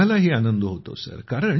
आम्हालाही आनंद होतो सर